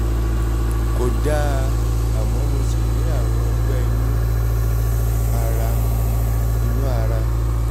kò dáa àmọ́ mo ṣì ní àrùn ọgbẹ́ inú ara inú ara